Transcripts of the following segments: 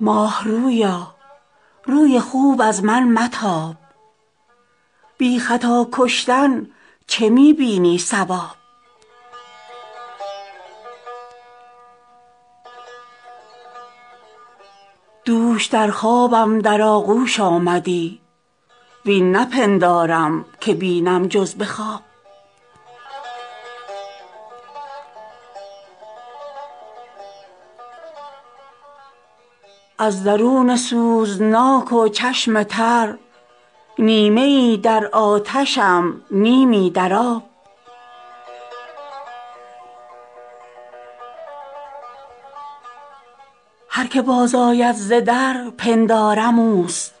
ماه رویا روی خوب از من متاب بی خطا کشتن چه می بینی صواب دوش در خوابم در آغوش آمدی وین نپندارم که بینم جز به خواب از درون سوزناک و چشم تر نیمه ای در آتشم نیمی در آب هر که باز آید ز در پندارم اوست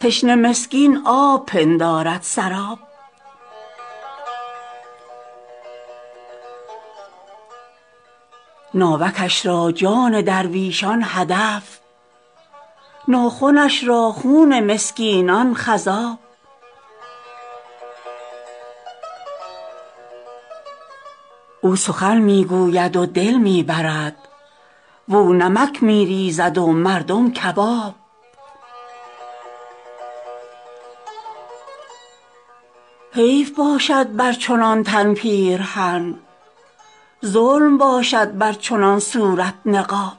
تشنه مسکین آب پندارد سراب ناوکش را جان درویشان هدف ناخنش را خون مسکینان خضاب او سخن می گوید و دل می برد واو نمک می ریزد و مردم کباب حیف باشد بر چنان تن پیرهن ظلم باشد بر چنان صورت نقاب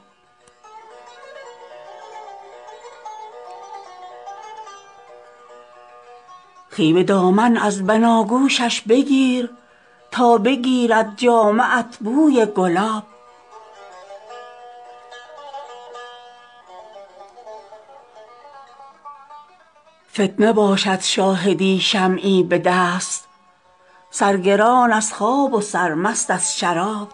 خوی به دامان از بناگوشش بگیر تا بگیرد جامه ات بوی گلاب فتنه باشد شاهدی شمعی به دست سرگران از خواب و سرمست از شراب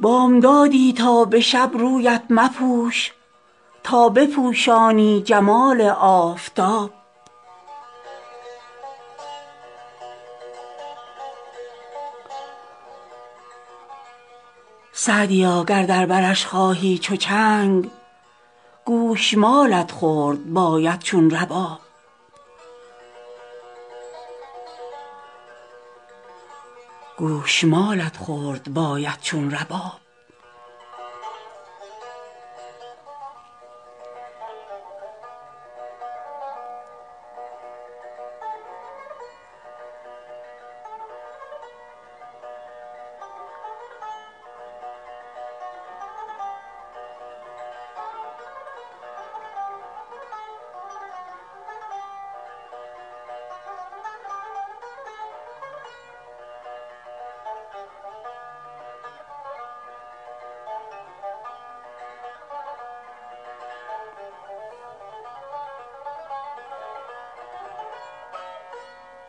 بامدادی تا به شب رویت مپوش تا بپوشانی جمال آفتاب سعدیا گر در برش خواهی چو چنگ گوش مالت خورد باید چون رباب